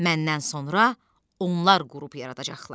Məndən sonra onlar qrup yaradacaqlar.